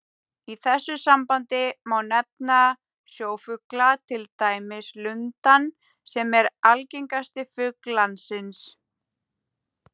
Í þessu sambandi má nefna sjófugla, til dæmis lundann sem er algengasti fugl landsins.